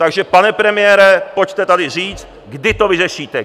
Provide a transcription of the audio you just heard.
Takže pane premiére, pojďte tady říct, kdy to vyřešíte.